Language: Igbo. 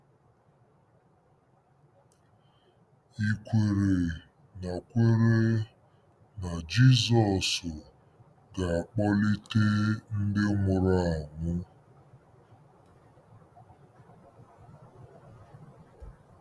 Ì kwere na kwere na Jizọs ga-akpọlite ndị nwụrụ anwụ?